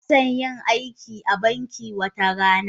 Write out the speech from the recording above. Ina son yin aiki a banki wata rana.